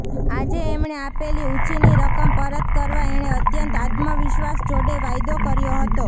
આજે એમણે આપેલી ઉછીની રકમ પરત કરવા એણે અત્યંત આત્મવિશ્વાસ જોડે વાયદો કર્યો હતો